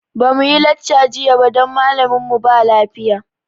Ba muyi lacca jiya ba don malamin mu ba lafiya